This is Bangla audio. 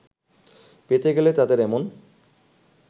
পেতে গেলে তাদের এমন